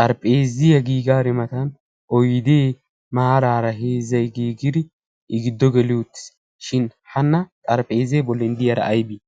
xarphphezziyaa giigari matan oydee maraara heezzay giigidi i giddo geelidi uttis. shin hana xarphphezzee boolli diyaara aybii?